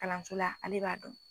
Kalanso la ale b'a dɔn.